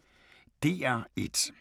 DR1